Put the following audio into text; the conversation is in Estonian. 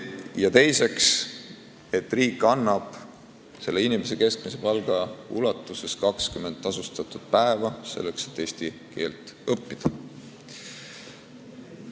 Ja teiseks, riik annab inimesele keskmise palga ulatuses 20 tasustatud päeva selleks, et eesti keelt õppida.